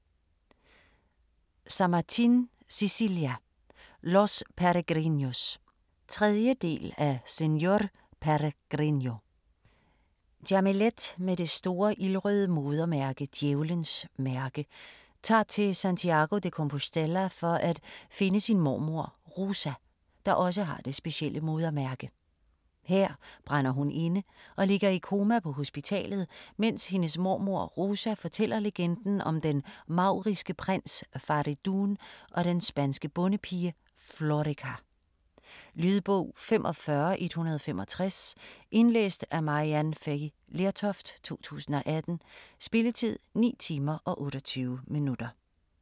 Samartin, Cecilia: Los Peregrinos 3. del af Señor Peregrino. Jamilet med det store ildrøde modermærke, 'Djævlens mærke', tager til Santiago de Compostela for at finde sin mormor Rosa, der også har det specielle modermærke. Her brænder hun inde, og ligger i koma på hospitalet, mens hendes mormor Rosa fortæller legenden om den mauriske prins Faridoon og den spanske bondepige Florica. Lydbog 45165 Indlæst af Maryann Fay Lertoft, 2018. Spilletid: 9 timer, 28 minutter.